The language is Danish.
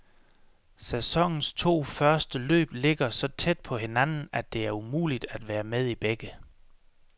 Sæsonens to første løb ligger så tæt på hinanden, at det er umuligt at være med i begge.